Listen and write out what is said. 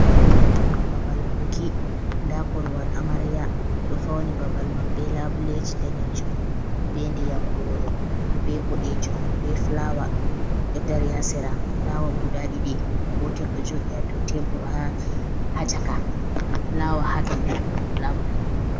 Babal buki, nda korowal amariya ɓeɗo fauni babal man be labuleji danejum, be ndiyam goro, be boɗejum, be flawa ɗo dari hasira, fulawa guda ɗiɗi gotel ɗo joɗi ha dow tebbur ha, ha caka, nda flawa hadow labule.